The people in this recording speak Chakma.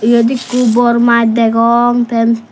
iyot ekko bor maj degong ten.